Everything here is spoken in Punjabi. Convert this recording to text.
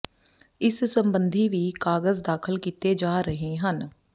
ਇਸ ਸੰਬੰਧੀ ਵੀ ਕਾਗਜ਼ ਦਾਖਲ ਕੀਤੇ ਜਾ ਰਹੇ ਹਨ